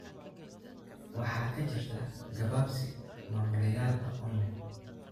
waxaa ka jirta gabaabsi maamulayaal aqoon leh.